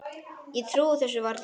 Ég trúi þessu varla